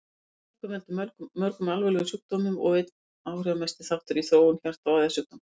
Æðakölkun veldur mörgum alvarlegum sjúkdómum og er einn áhrifamesti þáttur í þróun hjarta- og æðasjúkdóma.